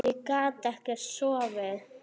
Ég gat ekkert sofið.